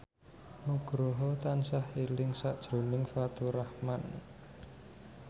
Nugroho tansah eling sakjroning Faturrahman